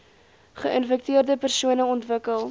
geinfekteerde persone ontwikkel